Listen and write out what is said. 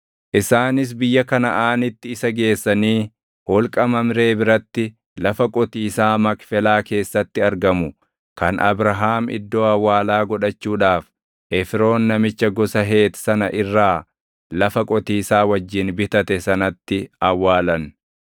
isaanis biyya Kanaʼaanitti isa geessanii holqa Mamree biratti lafa qotiisaa Makfelaa keessatti argamu kan Abrahaam iddoo awwaalaa godhachuudhaaf Efroon namicha gosa Heeti sana irra lafa qotiisaa wajjin bitate sanatti awwaalan.